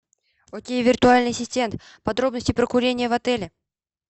окей виртуальный ассистент подробности про курение в отеле